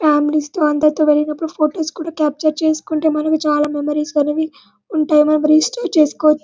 Families తో అందరితో వెళ్ళినప్పుడు ఫొటోస్ కూడా కాప్చర్ చేసుకుంటే మనకి చాల మెమోరీస్ అనేవి ఉంటాయి మెమోరీస్ షేర్ చేస్కోవచ్చు .